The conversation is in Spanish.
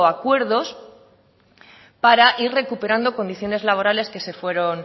acuerdos para ir recuperando condiciones laborales que se fueron